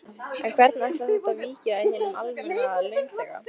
En hvernig ætlar þetta víki við hinum almenna launþega?